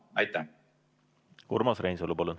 Urmas Reinsalu, palun1